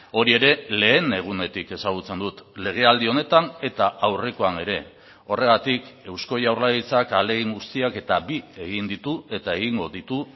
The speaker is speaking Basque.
hori ere lehen egunetik ezagutzen dut legealdi honetan eta aurrekoan ere horregatik eusko jaurlaritzak ahalegin guztiak eta bi egin ditu eta egingo ditu